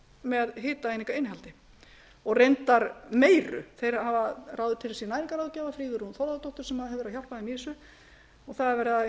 með hitaeiningainnihaldi og reyndar meiru þeir hafa ráðið til sín næringarráðgjafa sigrúnu þórðardóttur sem hefur verið að hjálpa þeim í þessu og það er verið